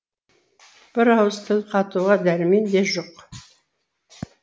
бір ауыз тіл қатуға дәрмен де жоқ